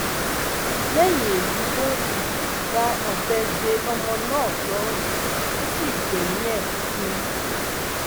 lẹyìn èyí ló um dá ọbẹ de ọmọ náà lọrùn tó sì gbẹmí ẹ um